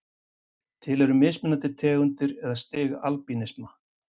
Til eru mismunandi tegundir eða stig albínisma.